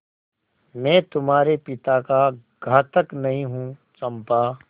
मैं तुम्हारे पिता का घातक नहीं हूँ चंपा